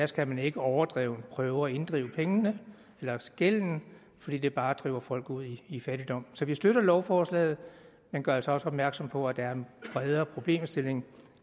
skal man ikke overdrevent prøve at inddrive pengene eller gælden fordi det bare driver folk ud i fattigdom så vi støtter lovforslaget men gør altså også opmærksom på at der er en bredere problemstilling